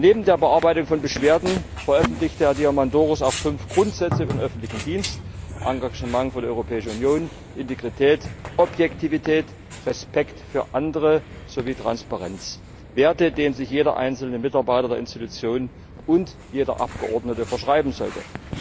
Neben der Bearbeitung von Beschwerden veröffentlichte Herr Diamandouros auch fünf Grundsätze für den öffentlichen Dienst Engagement für die Europäische Union, Integrität, Objektivität, Respekt für andere sowie Transparenz Werte, denen sich jeder einzelne Mitarbeiter der Institutionen und jeder Abgeordnete verschreiben sollte!